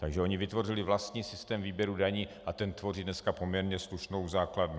Takže oni vytvořili vlastní systém výběru daní a ten tvoří dneska poměrně slušnou základnu.